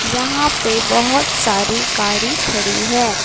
यहां पे बहुत सारी गाड़ी खड़ी है।